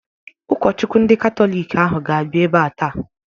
Ụkọchukwu ndị Katọlik ahụ ga-abịa ebea taa.